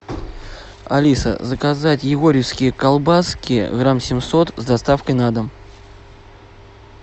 алиса заказать егорьевские колбаски грамм семьсот с доставкой на дом